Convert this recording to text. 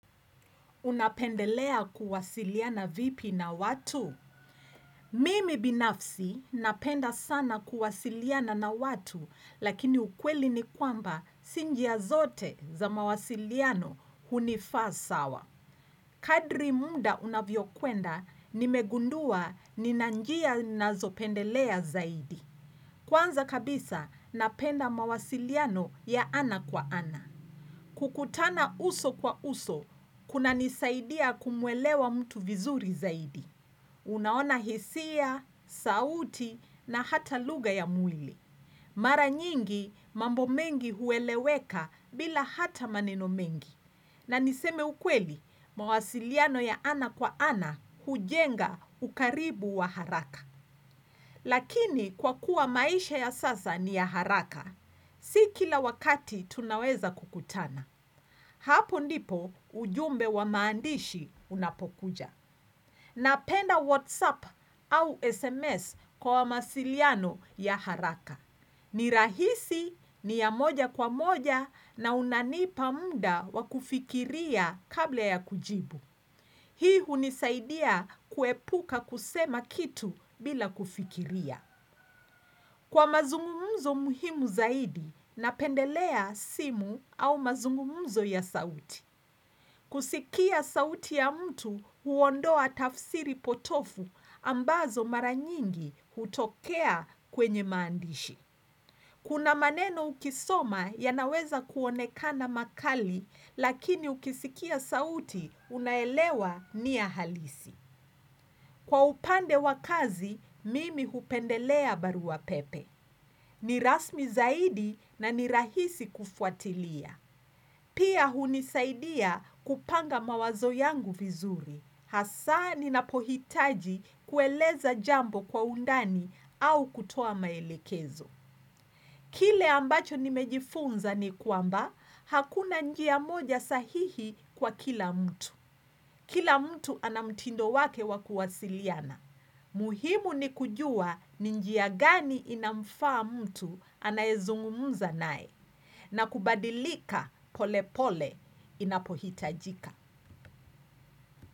Unapendelea kuwasiliana vipi na watu? Mimi binafsi napenda sana kuwasiliana na watu lakini ukweli ni kwamba si njia zote za mawasiliano hunifaa sawa. Kadri mda unavyo kwenda nimegundua nina njia nazopendelea zaidi. Kwanza kabisa napenda mawasiliano ya ana kwa ana. Kukutana uso kwa uso, kunanisaidia kumuelewa mtu vizuri zaidi. Unaona hisia, sauti na hata lugha ya mwili. Mara nyingi mambo mengi hueleweka bila hata maneno mengi. Na niseme ukweli, mawasiliano ya ana kwa ana hujenga ukaribu wa haraka. Lakini kwa kuwa maisha ya sasa ni ya haraka, si kila wakati tunaweza kukutana. Hapo ndipo ujumbe wa maandishi unapokuja. Napenda WhatsApp au SMS kwa masiliano ya haraka. Ni rahisi, ni ya moja kwa moja na unanipa mda wa kufikiria kabla ya kujibu. Hii hunisaidia kuepuka kusema kitu bila kufikiria. Kwa mazungumuzo muhimu zaidi, napendelea simu au mazungumuzo ya sauti. Kusikia sauti ya mtu huondoa tafsiri potofu ambazo mara nyingi hutokea kwenye maandishi. Kuna maneno ukisoma yanaweza kuonekana makali, lakini ukisikia sauti unaelewa ni ya halisi. Kwa upande wa kazi, mimi hupendelea barua pepe. Ni rasmi zaidi na ni rahisi kufuatilia. Pia hunisaidia kupanga mawazo yangu vizuri. Hasaa ninapohitaji kueleza jambo kwa undani au kutoa maelekezo. Kile ambacho nimejifunza ni kwamba, hakuna njia moja sahihi kwa kila mtu. Kila mtu ana mtindo wake wa kuwasiliana. Muhimu ni kujua ni njia gani inamfaa mtu anayezungumza nae. Na kubadilika pole pole inapohitajika.